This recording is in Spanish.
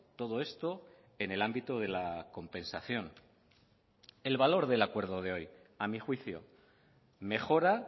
todo esto en el ámbito de la compensación el valor del acuerdo de hoy a mi juicio mejora